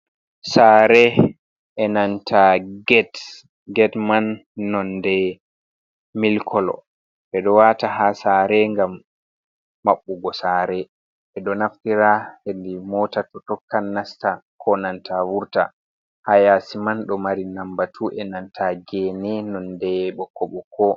Saare enanta get. Get man nonde milik kolo ɓeɗo wata ha saare ngam maɓɓugo saare ɓeɗo naftira hedi mota to tokkan nasta ko nanta vurta ha yaasi man ɗo mari lambatu enanta gene nonde ɓokko ɓokko.